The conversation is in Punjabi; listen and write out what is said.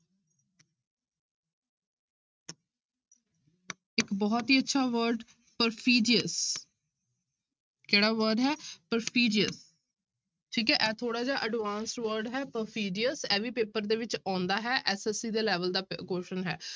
ਇੱਕ ਬਹੁਤ ਹੀ ਅੱਛਾ word perfidious ਕਿਹੜਾ word ਹੈ perfidious ਠੀਕ ਹੈ ਇਹ ਥੋੜ੍ਹਾ ਜਿਹਾ advance word ਹੈ perfidious ਇਹ ਵੀ ਪੇਪਰ ਦੇ ਵਿੱਚ ਆਉਂਦਾ ਹੈ SSC ਦੇ level ਦਾ ਪੇ question ਹੈ।